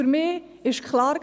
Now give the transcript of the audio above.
Für mich war klar: